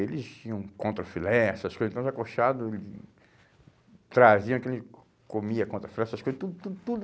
Eles tinham contra filé, essas coisas, então os acochados traziam aquilo, comia contra filé, essas coisas, tudo, tudo, tudo.